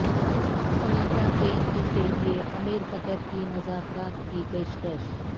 تنازع کے حل کے لیے امیر قطر کی مذاکرات کی پیشکش